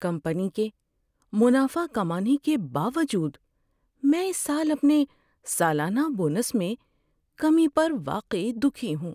Company کے منافع کمانے کے باوجود، میں اس سال اپنے سالانہ بونس میں کمی پر واقعی دکھی ہوں۔